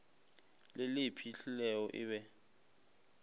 le le iphihlilego e be